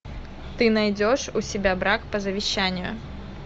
ты найдешь у себя брак по завещанию